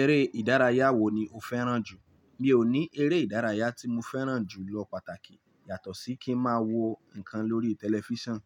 Eré ìdárayá wo ni o fẹ́ràn jù? Mi ò ní eré ìdárayá tí mo fẹ́ràn jù lọ pàtàkì yàtọ̀ sí kí n máa wo nǹkan lórí tẹlifíṣàn.